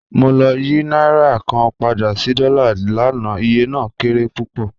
Mo lọ̀ yí nàírà kàn pádà sí dọ́là láńà, ìyẹ̀ náà kéré púpọ́